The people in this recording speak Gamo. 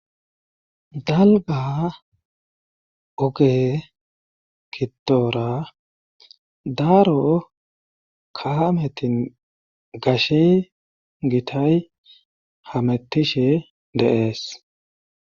dalga oge gidoora daaro kaametin gashe gitay hamettishe deees